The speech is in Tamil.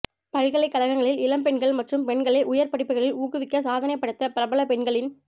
பல்கலைக்கழகங்களில் இளம் பெண்கள் மற்றும் பெண்களை உயா் படிப்புகளில் ஊக்குவிக்க சாதனை படைத்த பிரபல பெண்களின்